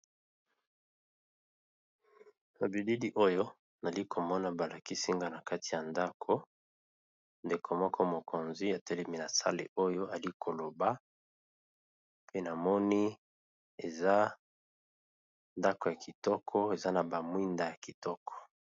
Na bilili oyo nali ko mona ba lakis inga na kati ya ndako, ndeko moko mokonzi a telemi na sale oyo, ali ko loba pe na moni eza ndako ya kitoko eza na ba mwinda ya kitoko .